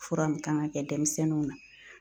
Fura min kan ŋa kɛ dɛmisɛnninw na